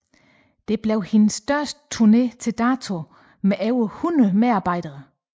Det blev hendes største turné til dato med over 100 medarbejdere